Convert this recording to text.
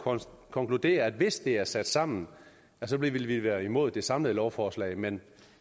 konkludere at hvis det er sat sammen vil vi være imod det samlede lovforslag men